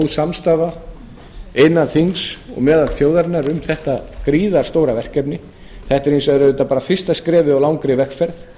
samstaða innan þings og meðal þjóðarinnar um þetta gríðarstóra verkefni þetta er hins vegar auðvitað bara fyrsta skrefið í langri vegferð